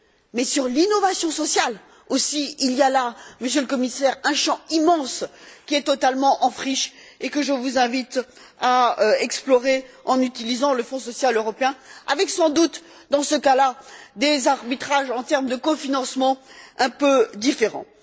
Mais sur l'innovation sociale, aussi, il y a là, Monsieur le Commissaire, un champ immense qui est totalement en friche et que je vous invite à explorer en utilisant le Fonds social européen avec, sans doute, dans ce cas là, des arbitrages en termes de cofinancement un peu différents.